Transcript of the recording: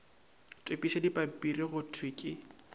topišwa dipampiri go thwe ke